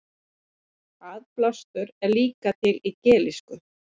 aðblástur er líka til í gelísku